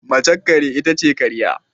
Mace kare itace karya